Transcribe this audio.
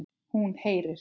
Hún heyrir.